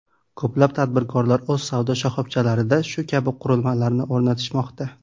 Ko‘plab tadbirkorlar o‘z savdo shoxobchalarida shu kabi qurilmalarni o‘rnatishmoqda.